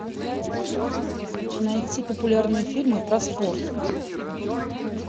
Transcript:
найти популярные фильмы про спорт